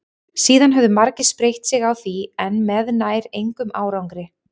síðan höfðu margir spreytt sig á því en með nær engum árangri